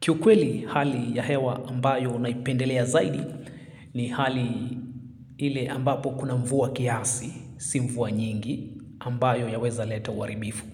Kiu kweli hali ya hewa ambayo naipendelea zaidi ni hali ile ambapo kuna mvua kiasi, si mvua nyingi ambayo yaweza leta uharibifu.